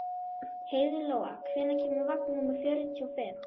Heiðlóa, hvenær kemur vagn númer fjörutíu og fimm?